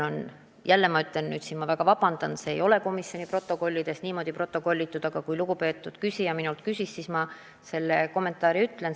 Jälle, ma väga palun vabandust, aga komisjoni protokollidest selle kohta midagi ei leia, aga kui lugupeetud küsija minult küsis, siis ma oma kommentaari ütlen.